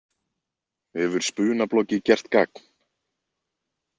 Hefur spunabloggið gert gagn?